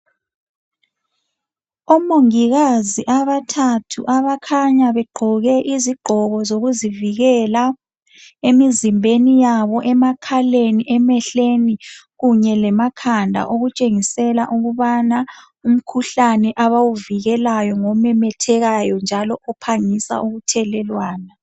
Omongikazi abathathu abakhanya begqoke izigqoko sokuzivikela emizimbeni yabo, emakhaleni, emehlweni, kunye lemakhanda okutshengisela ukubana umkhuhlane abawuvikelayo ngomemethekayo njalo ophangisa ukuthelelwana